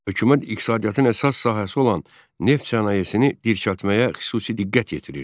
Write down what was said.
Hökumət iqtisadiyyatın əsas sahəsi olan neft sənayesini dirçəltməyə xüsusi diqqət yetirirdi.